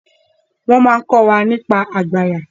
wo món ko wá nípa àgbàyà